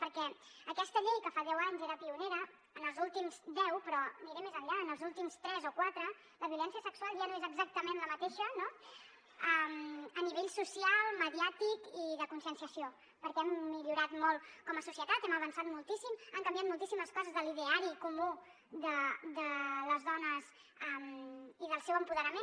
perquè aquesta llei que fa deu anys era pionera en els últims deu però aniré més enllà en els últims tres o quatre la violència sexual ja no és exactament la mateixa no a nivell social mediàtic i de conscienciació perquè hem millorat molt com a societat hem avançat moltíssim han canviat moltíssimes coses de l’ideari comú de les dones i del seu apoderament